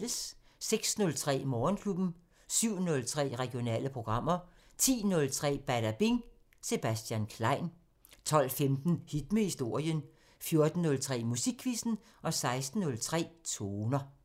06:03: Morgenklubben 07:03: Regionale programmer 10:03: Badabing: Sebastian Klein 12:15: Hit med historien 14:03: Musikquizzen 16:03: Toner